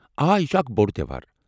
آ یہ چھٗ اکھ بوٚڑ تیوہار۔